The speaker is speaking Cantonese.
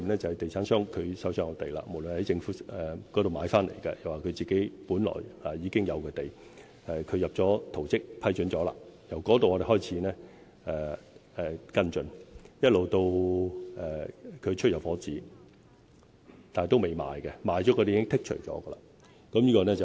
就是地產商就手上的土地，無論是從政府買回來或是本來已經擁有的土地，提交了圖則，得到了批准，我們從那時候開始跟進，一直到地產商發出入伙紙，但單位仍未出售，因為已售出的單位已經被剔除。